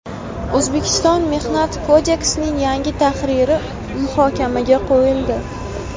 O‘zbekiston Mehnat kodeksining yangi tahriri muhokamaga qo‘yildi.